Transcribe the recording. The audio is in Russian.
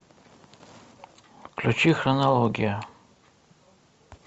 включи хронология